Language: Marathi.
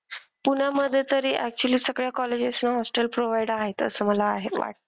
पुण्यामधे तरी actually सगळ्या colleges ना hostel provide आहेत असं मला आहे वाटतं.